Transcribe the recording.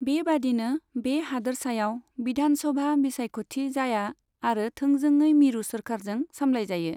बेबायदिनो, बे हादोरसायाव विधानसभा बिसायख'थि जाया आरो थोंजोङै मिरु सोरखारजों सामलायजायो।